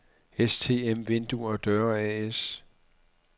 STM Vinduer og Døre A/S